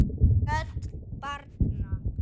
Rödd barna